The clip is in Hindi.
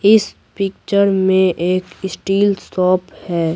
इस पिक्चर में एक स्टील शॉप है।